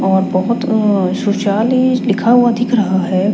और बहोत अ सुशाल ही लिखा हुआ दिख रहा हैं।